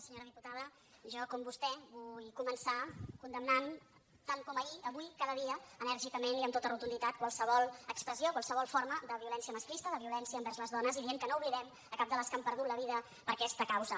senyora diputada jo com vostè vull començar condemnant tant com ahir avui cada dia enèrgicament i amb totes rotunditat qualsevol expressió qualsevol forma de violència masclista de violència envers les dones i dient que no oblidem cap de les que han perdut la vida per aquesta causa